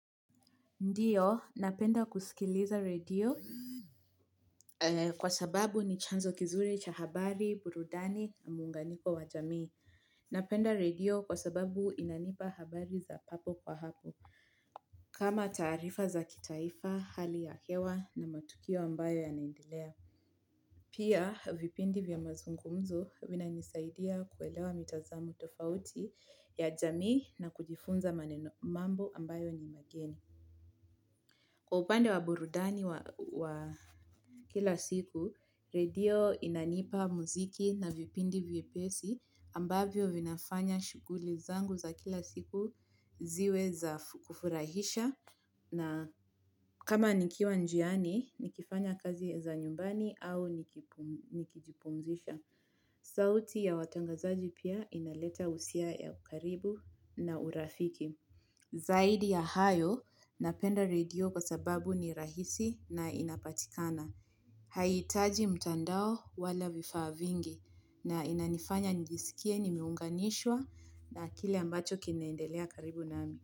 Ndiyo, nampenda kusikiliza redio. Kwa sababu ni chanzo kizuri cha habari, burudani, muunganiko wa jamii. Napenda radio kwa sababu inanipa habari za papo kwa hapo. Kama taarifa za kitaifa, hali ya hewa na matukio ambayo yanaendelea. Pia, vipindi vya mazungumzo vina nisaidia kuelewa mitazamo tofauti ya jamii na kujifunza manenomambo ambayo ni mageni. Kwa upande wa burudani wa kila siku, redio inanipa muziki na vipindi vye pesi ambavyo vinafanya shuguli zangu za kila siku ziwe za kufurahisha na kama nikiwa njiani, nikifanya kazi ya za nyumbani au nikijipumzisha. Sauti ya watangazaji pia inaleta usia ya ukaribu na urafiki. Zaidi ya hayo napenda redio kwa sababu ni rahisi na inapatikana. Haiitaji mtandao wala vifaavingi na inanifanya nijisikie ni miunganishwa na kile ambacho kinaendelea karibu nami.